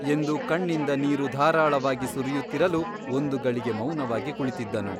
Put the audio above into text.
ಎಂದು ಕಣ್ಣಿಂದ ನೀರು ಧಾರಾಳವಾಗಿ ಸುರಿಯುತ್ತಿರಲು ಒಂದು ಗಳಿಗೆ ಮೌನವಾಗಿ ಕುಳಿತಿದ್ದನು.